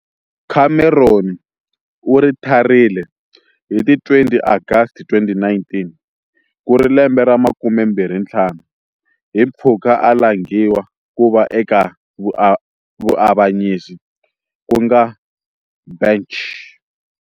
Cameron u ritharile hi ti 20 Agasti 2019, ku ri lembe ra makumembirhi ntlhanu 25 hi mpfhuka a langiwa ku va eka vuavanyisi ku nga bench.